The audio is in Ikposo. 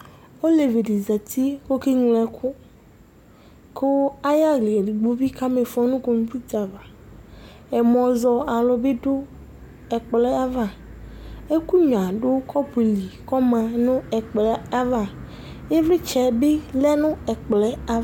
Ɔlevi di za uti ku ɔkeŋlo ɛku Ku ayu aɣla edigbo bi kama ifɔ nu kɔmputa ava Ɛmɔ zɔ alu bi du ɛkplɔ yɛ ava Ɛkunyuia du kɔpuli ku ɔma nu ɛkplɔ yɛ ava Ivlitsɛ bi lɛ nu ɛkplɔ yɛ ava